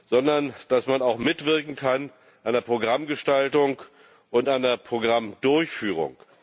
sondern dass man auch mitwirken kann an der Programmgestaltung und an der Programmdurchführung.